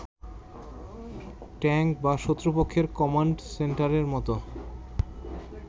tank বা শত্রুপক্ষের command সেন্টারের মতো